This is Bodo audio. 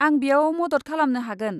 आं बेयाव मदद खालामनो हागोन।